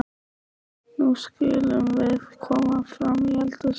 Nú skulum við koma fram í eldhús, sagði hún.